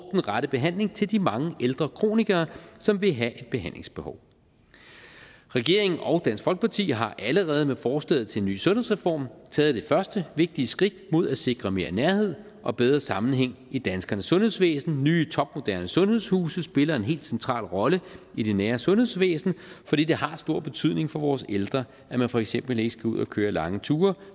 rette behandling til de mange ældre kronikere som vil have et behandlingsbehov regeringen og dansk folkeparti har allerede med forslaget til en ny sundhedsreform taget det første vigtige skridt mod at sikre mere nærhed og bedre sammenhæng i det danske sundhedsvæsen nye topmoderne sundhedshuse spiller en helt central rolle i det nære sundhedsvæsen for det det har stor betydning for vores ældre at man for eksempel ikke skal ud og køre lange ture